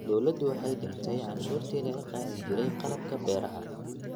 Dawladdu waxay dhimay cashuurtii laga qaadi jiray qalabka beeraha.